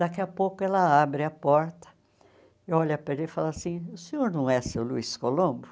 Daqui a pouco ela abre a porta, olha para ele e fala assim, o senhor não é seu Luiz Colombo?